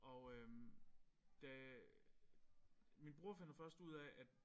Og øh da min bror finder først ud af at